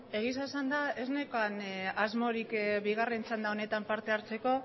beno egia esanda ez neukan asmorik bigarren txanda honetan parte hartzeko